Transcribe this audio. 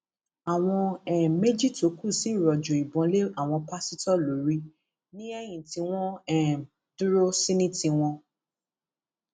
àwọn um méjì tó kù sì rọjò ìbọn lé àwọn pásítọ lórí ní eyín tí wọn um dúró sí ní tiwọn